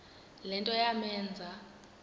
le nto yamenza